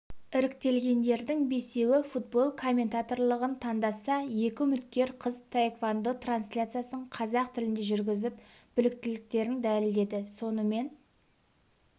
іріктелгендердің бесеуі футбол комментаторлығын таңдаса екі үміткер қыз таеквондо трансляциясын қазақ тілінде жүргізіп біліктіліктерін дәлелдеді сонымен